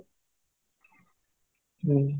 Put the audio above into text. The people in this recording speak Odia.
ହୁଁ